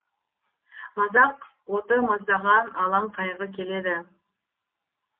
мазақ оты маздаған алаң қайғы келеді